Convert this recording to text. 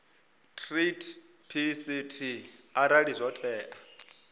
treaty pct arali zwo tea